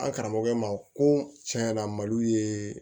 An karamɔgɔ ma ko tiɲɛyana malo ye